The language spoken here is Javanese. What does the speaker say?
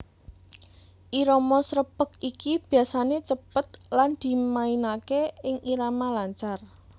Irama srepeg iki biasané cepet lan dimainaké ing irama lancar